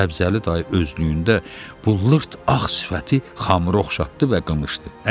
Səbzəli dayı özlüyündə bu lırt ağ sifəti Xamrı oxşatdı və qımışdı.